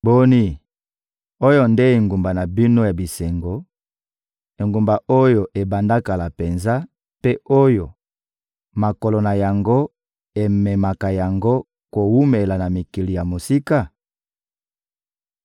Boni, oyo nde engumba na bino ya bisengo, engumba oyo ebanda kala penza mpe oyo makolo na yango ememaka yango kowumela na mikili ya mosika?